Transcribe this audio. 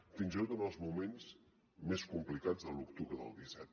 fins i tot en els moments més complicats de l’octubre del disset